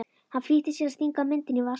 Hann flýtir sér að stinga myndinni í vasann.